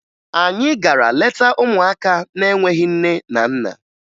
Anyị gara leta ụmụaka na-enweghi nne na nna